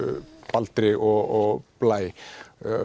Baldri og Blæ